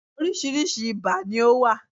Oríṣiríṣi ibà ni ó wà.